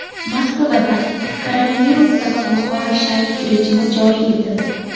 Moskvada koronavirus sabab yuqori shaylik rejimi joriy etildi.